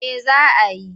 Eh za a yi.